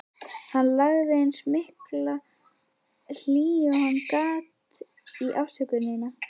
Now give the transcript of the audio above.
Hann lagði eins mikla hlýju og hann gat í afsökunina.